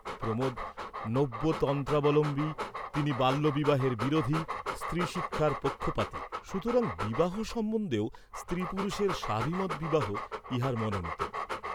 প্রমোদ নব্য তন্ত্রাবলম্বী, তিনি বাল্যবিবাহের বিরোধী, স্ত্রী শিক্ষার পক্ষপাতী, সুতরাং বিবাহ সম্বন্ধেও স্ত্রী পুরুষের স্বাভিমত বিবাহ ইঁহার মনোনীত।